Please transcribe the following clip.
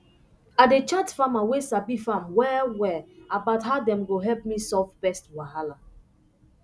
i dey chat farmer way sabi farm well well about how dem go help me solve pest wahala